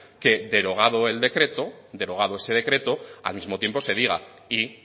que derogado el decreto derogado ese decreto al mismo tiempo se diga y